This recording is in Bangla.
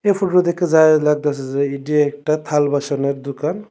এই ফোটোটা দেইখ্যা যায় লাগতাছে যে এডি একটা থাল বাসুনের দুকান।